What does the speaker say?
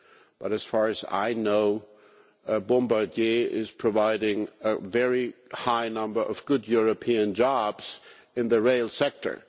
But as far as I know, Bombardier is providing a very high number of good European jobs in the rail sector.